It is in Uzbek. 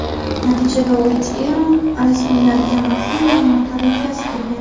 Natijada, Uitt Eron rasmiylariga maxfiy ma’lumotlar yetkazib turgan.